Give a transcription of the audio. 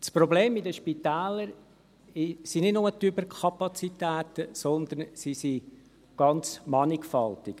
» Das Problem in den Spitälern sind nicht nur die Überkapazitäten, sondern sie sind ganz mannigfaltig.